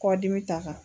Kɔdimi ta kan